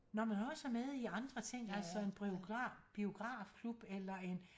Når man også er med i andre ting altså en biografklub eller en